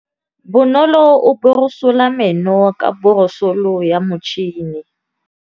Bonolô o borosola meno ka borosolo ya motšhine.